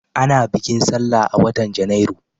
Ana bikin sallah a watan Janairu.